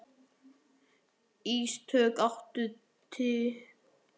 Ísdögg, áttu tyggjó?